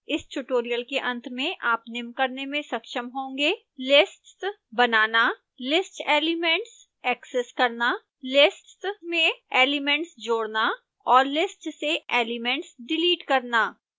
इस ट्यूटोरियल के अंत में आप निम्न करने में सक्षम होंगे